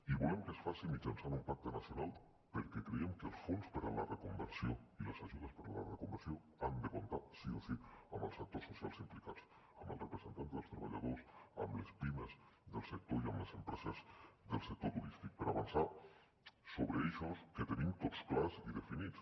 i volem que es faci mitjançant un pacte nacional perquè creiem que els fons per a la reconversió i les ajudes per a la reconversió han de comptar sí o sí amb els sectors socials implicats amb els representants dels treballadors amb les pimes del sector i amb les empreses del sector turístic per avançar sobre eixos que tenim tots clars i definits